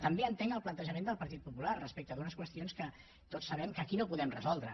també entenc el plantejament del partit popular respecte d’unes qüestions que tots sabem que aquí no podem resoldre